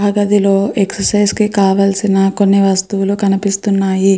ఆ గదిలోకి ఎక్సర్సైజ్ కి కావాల్సిన కొన్ని వస్తువులు కనిపిస్తున్నాయి.